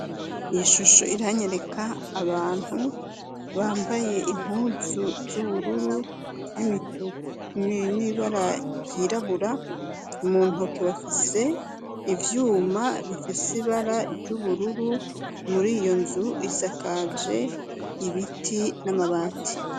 Ishusho iranyereka abantu bambaye impuzu z'ubururu n'ibara ryirabura mu ntoke bafise ivyuma bifise ibara ry'ubururu muri iyo nzu isakaje ibiti n'amabati.